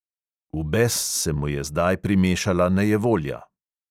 V bes se mu je zdaj primešala nejevolja.